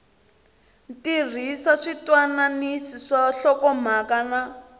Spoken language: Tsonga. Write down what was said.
tirhisa switwananisi swa nhlokomhaka na